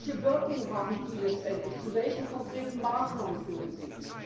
Aber welche Wirkung haben die letztendlich, zu welchen konkreten Maßnahmen führen sie?